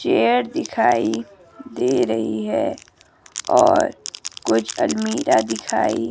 chair दिखाई दे रही है और कुछ अलमीरा दिखाई--